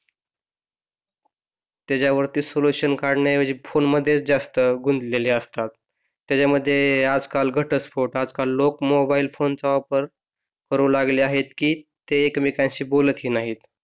त्याच्यावरती सोलुशन काढण्याऐवजी फोन मध्येच जास्त गुंतलेले असतात त्याच्यामध्ये आजकाल घटस्फोट आजकाल लोक मोबाईल फोनचा वापर करू लागले आहेत की ते एकमेकांशी बोलत ही नाही